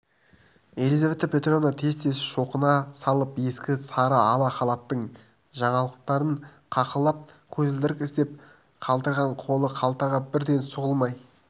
елизавета петровна тез-тез шоқына салып ескі сары ала халатының жанқалталарын қаққылап көзілдірік іздеп қалтыраған қолы қалтаға бірден сұғылмай